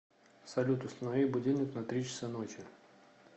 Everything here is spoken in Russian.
салют установи будильник на три часа ночи